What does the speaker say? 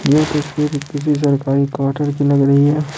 ये तस्वीर किसी सरकारी क्वार्टर की लग रही है।